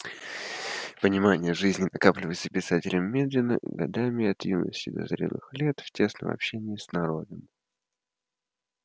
понимание жизни накапливается писателем медленно годами от юности до зрелых лет в тесном общении с народом